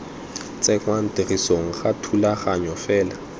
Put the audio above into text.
tsenngwa tirisong ga thulaganyo fela